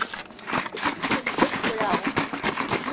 Engum liggur á.